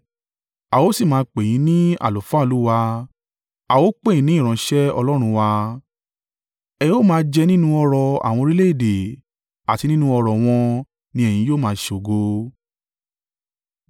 A ó sì máa pè yín ní àlùfáà Olúwa, a ó pè yín ní ìránṣẹ́ Ọlọ́run wa. Ẹ ó máa jẹ nínú ọrọ̀ àwọn orílẹ̀-èdè àti nínú ọrọ̀ wọn ni ẹ̀yin yóò máa ṣògo.